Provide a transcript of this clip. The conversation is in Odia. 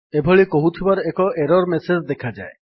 ଏଭଳି କହୁଥିବାର ଏକ ଏରର୍ ମେସେଜ୍ ଦେଖାଯାଏ